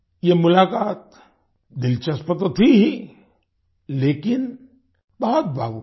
ये मुलाकात दिलचस्प तो थी ही लेकिन बहुत भावुक थी